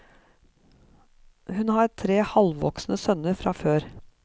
Hun har tre halvvoksne sønner fra før.